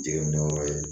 Jiginnen yɔrɔ ye